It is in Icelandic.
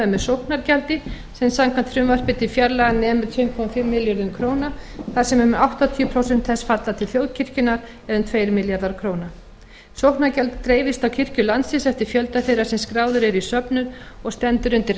með sóknargjaldi sem samkvæmt frumvarpi til fjárlaga nemur um tvö komma fimm milljörðum króna þar sem um áttatíu prósent þess falla til þjóðkirkjunnar eða um tveir milljarðar króna sóknargjald dreifist á kirkjur landsins eftir fjölda þeirra sem skráðir eru í söfnuð og stendur undir